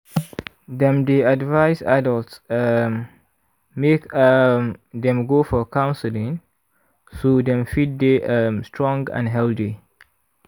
dem dey advise adults um make um dem go for counseling so dem fit dey um strong and healthy